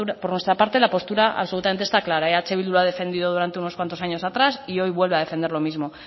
por nuestra parte la postura absolutamente está clara eh bildu lo ha defendido durante unos cuantos años atrás y hoy vuelve a defender lo mismo